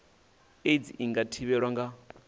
aids i nga thivhelwa nga